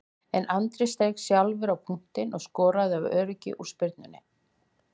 En Andri steig sjálfur á punktinn og skoraði af öryggi úr spyrnunni.